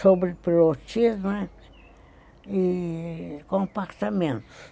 sobre pilotismo e compartamentos.